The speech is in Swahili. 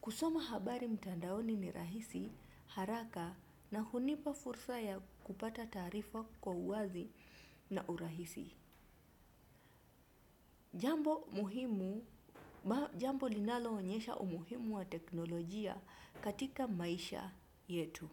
Kusoma habari mtandaoni ni rahisi, haraka na hunipa fursa ya kupata taarifa kwa uwazi na urahisi. Jambo linaloonyesha umuhimu wa teknolojia katika maisha yetu.